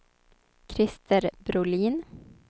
Christer Brolin